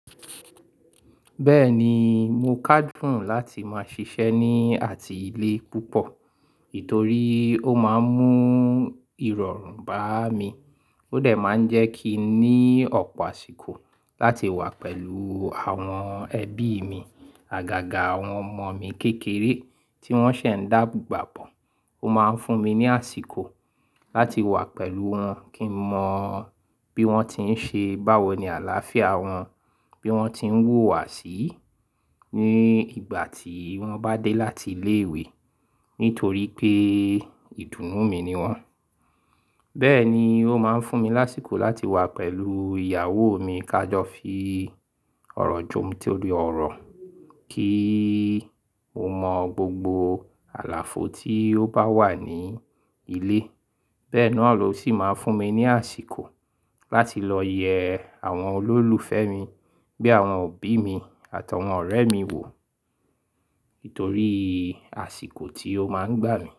Bẹ́ẹ̀ ni, mo kádún láti máa ṣiṣẹ́ ní àti ilé púpọ̀, nítorí ó máa ń mú ìrọ̀rùn bá mi. Ó dà máa ń jẹ́ kí n ní ọ̀pọ̀ àsìkò láti wà pẹ̀lú àwọn ẹbí mi. Àgàgà àwọn ọmọ mi kékeré tí wọ́n ṣẹ̀ ń dàgbà bọ̀, ó máa ń fún mi ní àsìkò láti wà pẹ̀lú wọn kí n mọ bí wọ́n ti ń ṣe, báwo ni àlàáfíà wọn, bí wọ́n ti ń wùwà sí ní ìgbà tí wọ́n bá dé láti ilé ìwé, nítorí pé ìdùnnú mi ni wọ́n. Bẹ́ẹ̀ ni, ó máa ń fún mi láṣìkò láti wà pẹ̀lú ìyàwó mi ká jọ fi ọ̀rọ̀ jomiti ọ̀rọ̀ kí ó mọ gbogbo àlàfo tí ó bá wà ní ilé. Bẹ́ẹ̀ náà ló sì máa ń fún mi ní àsìkò láti lọ yẹ àwọn olólùfẹ́ mi bí àwọn òbí mi àtàwọn ọ̀rẹ́ mi wò, nítorí àsìkò tí ó máa ń gbà mí.